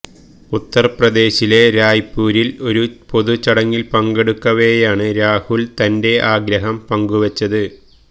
ഉത്തർപ്രദേശിലെ രായ്പൂരില് ഒരു പൊതു ചടങ്ങില് പങ്കെടുക്കവേയാണ് രാഹുല് തന്റെ ആഗ്രഹം പങ്കു വച്ചത്